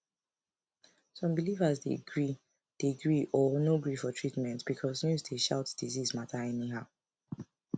some believers dey gree dey gree or no gree for treatment because news dey shout disease matter anyhow